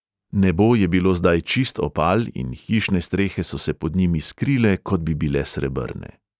Nebo je bilo zdaj čist opal in hišne strehe so se pod njim iskrile, kot bi bile srebrne.